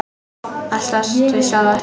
Að slást við sjálfan sig.